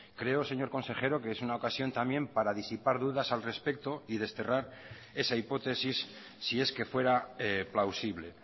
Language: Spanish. creo señor consejero que es una ocasión también para disipar dudas al respecto y desterrar esa hipótesis si es que fuera plausible